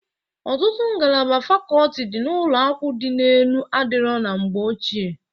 Ọtụtụ ngalaba fakoti dị na ụlọakwụ dị enu adịrọ na mgbe ochie.